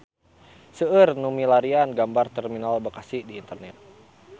Seueur nu milarian gambar Terminal Bekasi di internet